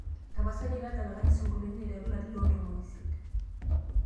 tapasali tadalakaki isingolioitin aiteru ilarin loontomoni isiet